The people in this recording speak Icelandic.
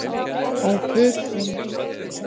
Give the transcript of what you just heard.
Ó, gefðu góður Guð að ég kikni ekki að morgni, bað hann.